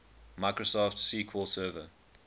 microsoft sql server